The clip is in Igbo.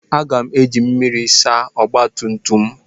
Aga m eji mmiri asa ọgba tum tum m.